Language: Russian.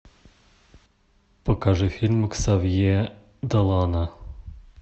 покажи фильмы ксавье долана